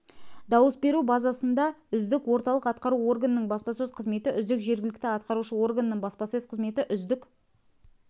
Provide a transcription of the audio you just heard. дауыс беру базасында үздік орталық атқару органының баспасөз қызметі үздік жергілікті атқарушы органның баспасөз қызметі үздік